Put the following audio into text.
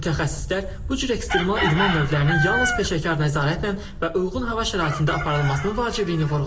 Mütəxəssislər bu cür ekstremal idman növlərinin yalnız peşəkar nəzarətlə və uyğun hava şəraitində aparılmasının vacibliyini vurğulayır.